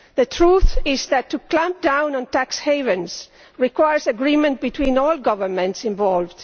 The truth is that clamping down on tax havens requires agreement between all the governments involved